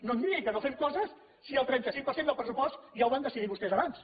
no em digui que no fem coses si el trenta cinc per cent del pressupost ja el van decidir vostès abans